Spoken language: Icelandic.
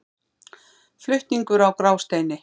Flutningur á Grásteini.